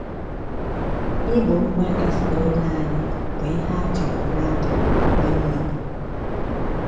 Igbo mkpa ezinụlọ anyị bụ ihe a chọrọ n’aka onye igbo